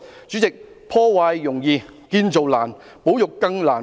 主席，破壞容易建造難，保育更難。